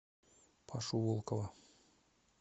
пашу волкова